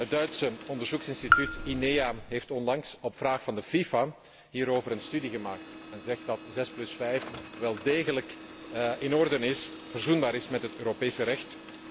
Het Duitse onderzoeksinstituut INEA heeft onlangs op vraag van de FIFA hierover een studie gemaakt en zegt dat zes plus vijf wel degelijk in orde is en verzoenbaar is met het Europese recht.